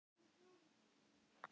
Af hverju heldur þú með ÍR?